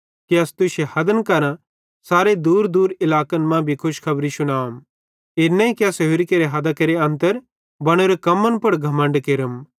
कि अस तुश्शे हदन करां सारे दूरदूर इलाकन मां भी खुशखबरी शुनाम इन नईं कि अस होरि केरे हदां केरे अन्तर बनोरे कम्मन पुड़ घमण्ड केरम